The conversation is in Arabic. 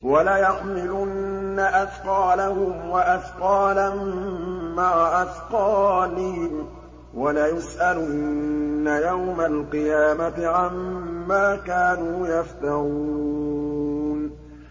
وَلَيَحْمِلُنَّ أَثْقَالَهُمْ وَأَثْقَالًا مَّعَ أَثْقَالِهِمْ ۖ وَلَيُسْأَلُنَّ يَوْمَ الْقِيَامَةِ عَمَّا كَانُوا يَفْتَرُونَ